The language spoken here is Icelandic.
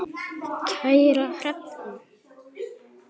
Kæra Hrefna.